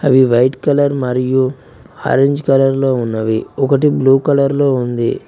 అవి white colour మరియు orange colour లో ఉన్నవి ఒకటి బ్లూ కలర్ లో ఉంది.